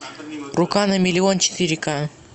рука на миллион четыре ка